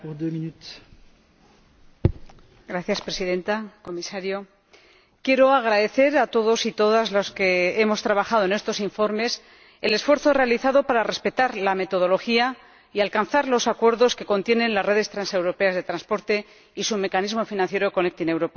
Señora Presidenta, señor Comisario, quiero agradecer a todos los que hemos trabajado en estos informes el esfuerzo realizado para respetar la metodología y alcanzar los acuerdos que contienen las redes transeuropeas de transporte y su mecanismo financiero Conectar Europa.